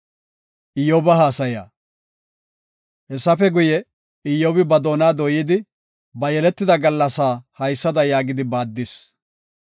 Hessafe guye, Iyyobi ba doona dooyidi, ba yeletida gallasaa haysada yaagidi baaddis.